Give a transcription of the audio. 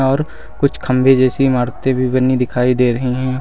और कुछ खंभे जैसी इमारतें भी बनी दिखाई दे रही हैं।